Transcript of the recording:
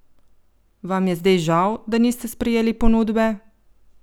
Vam je zdaj žal, da niste sprejeli ponudbe?